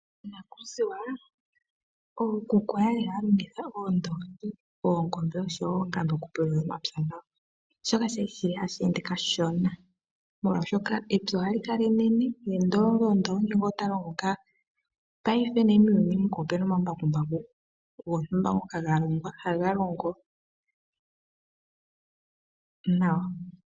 Monakuziwa ookuku oya li haya longitha oondongi, oongombe oshowo oonani okupulula omapya gawo, shoka shali hashi ende kashona. Molwashoka epya ohali kala enene ye ndongondongo ota loloka. Paife muuhuni muka omuna omambakumbaku gontumba ngoka ga longwa haga longo nawa.